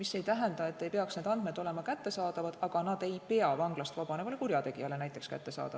See ei tähenda, et need andmed ei peaks üldse kättesaadavad olema, aga vanglast vabanev kurjategija ehk ei peaks neid näha saama.